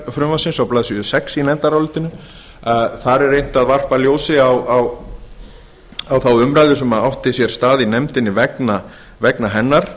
frumvarpsins á blaðsíðu sex í nefndarálitinu þar er reynt að varpa ljósi á þá umræðu sem átti sér stað í nefndinni vegna hennar